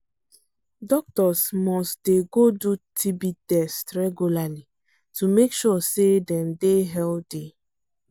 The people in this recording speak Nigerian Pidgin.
doctors must dey go do tb test regularly to make sure say dem dey healthy